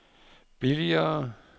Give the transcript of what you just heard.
billigere